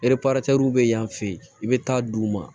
bɛ yan fɛ yen i bɛ taa di u ma